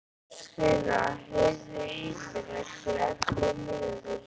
Þorsteina, heyrðu í mér eftir ellefu mínútur.